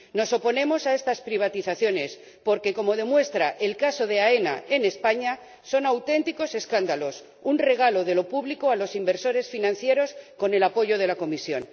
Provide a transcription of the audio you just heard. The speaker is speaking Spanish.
Nos oponemos a estas privatizaciones porque, como demuestra el caso de AENA en España, son auténticos escándalos un regalo de lo público a los inversores financieros con el apoyo de la Comisión.